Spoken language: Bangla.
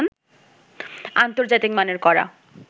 আন্তর্জাতিক মানের করা